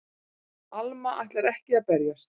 Alma ætlar ekki að berjast.